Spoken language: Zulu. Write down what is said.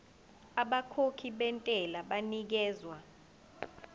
abakhokhi bentela banikezwa